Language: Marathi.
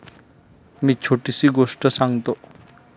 मी छोटीशी गोष्ट सांगतो.